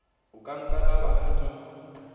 o ka nkaraba ha ke